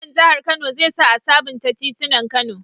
Gwamnan jahar kano zai sa a sabunta titinan kano